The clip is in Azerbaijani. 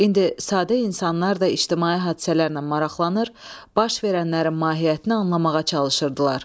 İndi sadə insanlar da ictimai hadisələrlə maraqlanır, baş verənlərin mahiyyətini anlamağa çalışırdılar.